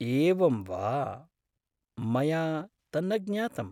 एवं वा? मया तन्न ज्ञातम्।